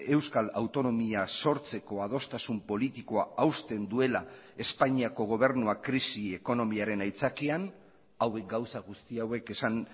euskal autonomia sortzeko adostasun politikoa hausten duela espainiako gobernuak krisi ekonomiaren aitzakian hauek gauza guzti hauek esan